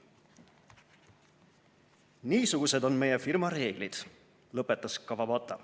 "Niisugused on meie firma reeglid," lõpetas Kawabata.